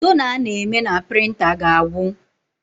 Tona a na-eme na prịnta ga-agwụ